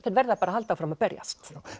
verða bara að halda áfram að berjast